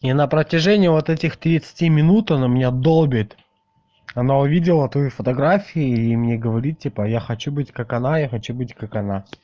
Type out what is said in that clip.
и на протяжении вот этих тридцати минут она меня долбит она увидела твои фотографии и мне говорит типа я хочу быть как она я хочу быть как она